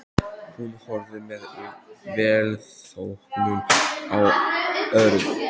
Hún horfði með velþóknun á Örn.